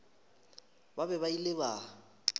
ba be ba ile ba